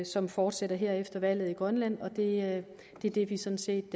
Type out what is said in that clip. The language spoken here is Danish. som fortsætter her efter valget i grønland og det det er det vi sådan set